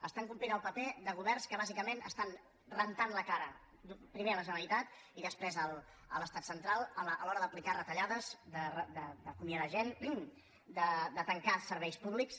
estan complint el paper de governs que bàsicament estan rentant la cara primer a la generali·tat i després a l’estat central a l’hora d’aplicar retalla·des d’acomiadar gent de tancar serveis públics